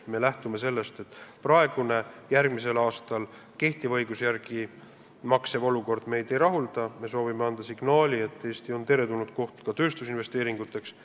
Me lähtume sellest, et kehtiva õiguse järgi maksev olukord meid järgmisel aastal ei rahulda, me soovime anda signaali, et Eesti on soodne koht ka tööstusinvesteeringuteks.